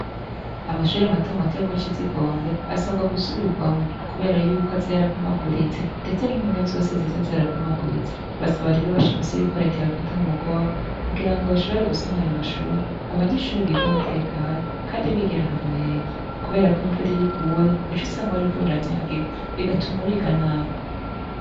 Amashure mato mato mu kizigombe asabwa gusubirwamwo Kubera yuko aza yarapfumaguritse ndetse nimpome zose ziza zarapfumaguritse , basaba rero bashimitse ko reta yobafata mumugongo kugira bashobore gusanura ayo mashure abanyeshure biga batekanye Kandi bigira ahantu heza Kubera ko imvura iyo iguye uca usanga bariko baranyagigwa bigatuma biga nabi.